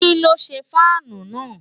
kí́ ló ṣe fáànù náà?